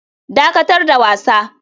Dakatar da wasa.